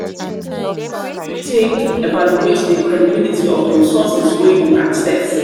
take evaluate di credibility of di resources wey you access?